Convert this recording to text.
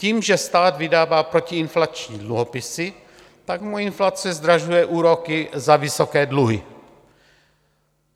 Tím, že stát vydává protiinflační dluhopisy, tak mu inflace zdražuje úroky za vysoké dluhy.